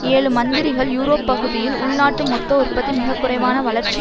ஏழு மந்திரிகள் யூரோப்பகுதியில் உள்நாட்டு மொத்த உற்பத்தி மிக குறைவான வளர்ச்சி